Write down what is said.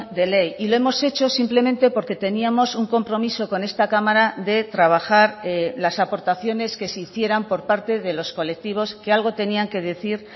de ley y lo hemos hecho simplemente porque teníamos un compromiso con esta cámara de trabajar las aportaciones que se hicieran por parte de los colectivos que algo tenían que decir